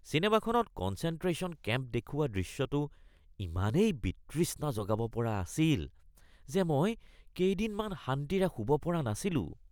চিনেমাখনত concentration camp দেখুওৱা দৃশ্যটো ইমানেই বিতৃষ্ণা জগাব পৰা আছিল যে মই কেইদিনমান শান্তিৰে শুব পৰা নাছিলো